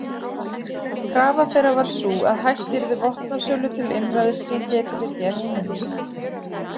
Krafa þeirra var sú að hætt yrði vopnasölu til einræðisríkja í þriðja heiminum.